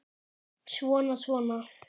Svona, svona